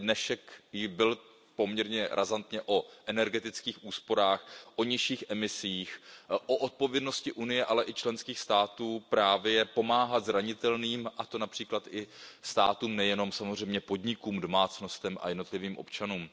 Ostatně dnešek byl poměrně razantně o energetických úsporách, o nižších emisích, o odpovědnosti Unie, ale i členských států pomáhat zranitelným, a to například i státům, nejenom podnikům, domácnostem a jednotlivým občanům.